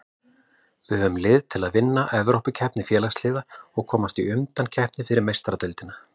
Við höfum lið til að vinna Evrópukeppni Félagsliða og komast í undankeppni fyrir Meistaradeildina.